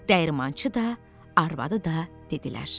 Dəyirmançı da, arvadı da dedilər: